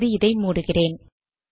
இப்போது இதை மூடுகிறேன்